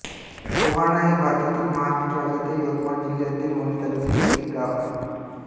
पोहाणा हे भारतातील महाराष्ट्र राज्यातील यवतमाळ जिल्ह्यातील वणी तालुक्यातील एक गाव आहे